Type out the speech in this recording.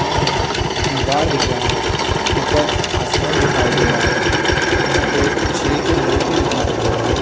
सामने दीवार दिख रहा है। उपर आसमान दिखाई दे रहा है। यह दो शेर की मूर्ति दिखाई दे रहे है।